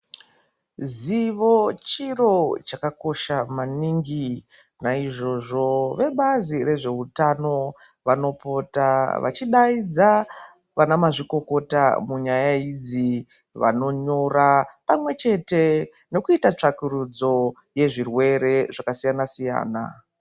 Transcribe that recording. Zivo chiro chakakosha maningi. Naizvozvo vebazi rezveutano vanopota vachidaidza vana mazvikokota munyaya idzi vanonyora pamwechete nekuita tsvakurudzo yezvirwere zvakasiyana siyana.